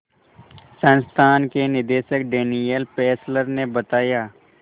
संस्थान के निदेशक डैनियल फेस्लर ने बताया